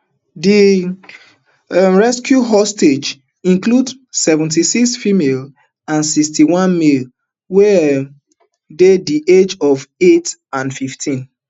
di um rescued hostages include seventy-six females and sixty-one males wey um dey di age of eight and fifteen